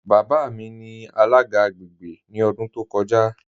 Baba mi ni alaga agbègbè ni ọ̀dún tó kọ́ja.